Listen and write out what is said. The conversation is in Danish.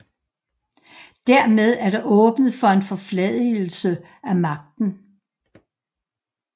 Dermed er der åbnet for en forfladigelse af magten